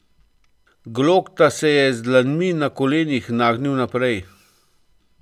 Glokta se je z dlanmi na kolenih nagnil naprej.